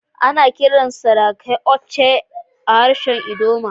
Ana kiran sarakai "Oche" a harshen ldoma.